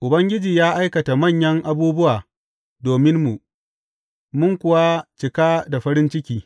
Ubangiji ya aikata manyan abubuwa dominmu, mun kuwa cika da farin ciki.